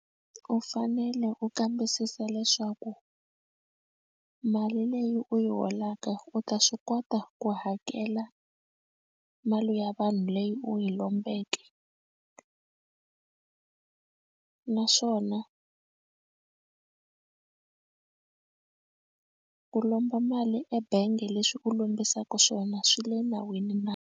U fanele u kambisisa leswaku mali leyi u yi holaka u ta swi kota ku hakela mali ya vanhu leyi u yi lombeke naswona ku lomba mali ebangi leswi u lombisaka swona swi le nawini na.